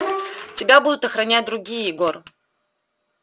тебя будут охранять другие егор